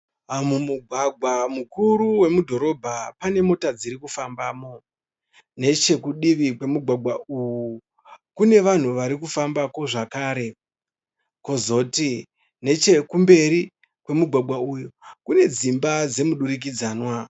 Mumugwagwa mukuru wemudhorobha pane mota dziri kufambamo. Nechekudivi kwemugwagwa uwu kune vanhu vari kufamba ko zvakare. Kwozoti nechekumberi kwemugwagwa uyu kune dzimba dzemudurikidzanwa.